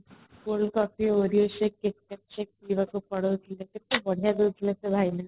କେତେ ବଢିଆ ଦଉଥିଲେ ସେ ଭାଇନା |